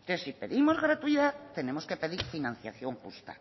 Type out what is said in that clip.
entonces si pedimos gratuidad tenemos que pedir financiación justa